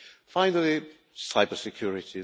Finally, cyber security.